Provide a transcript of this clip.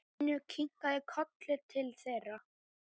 Finnur kinkaði kolli til þeirra.